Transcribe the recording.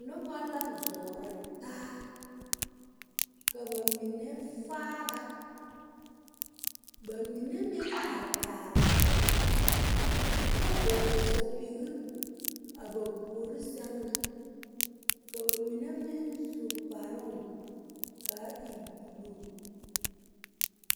Noba la zɔɔrɔ taa ka ba mine faara ba mine meŋ are kaara la kyɛ vɔgle sapige a ba poɔ sɛŋ na ka ba mine meŋ su kparoo ka a e buluu.